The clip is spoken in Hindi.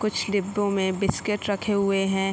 कुछ डिब्बों मे बिस्किट रखे हुवे हैं।